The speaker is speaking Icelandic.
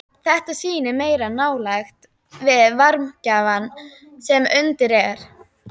Þetta sýnir meiri nálægð við varmagjafann sem undir er.